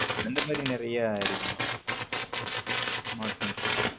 இந்த மாரி நறிய இருக்கு மா smartphones ல